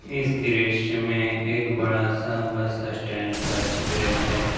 इस दृश्य में एक बड़ा सा बस स्टैंड का चित्र है।